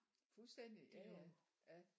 Fuldstændig ja ja